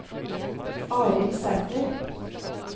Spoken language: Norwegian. Arild Sæter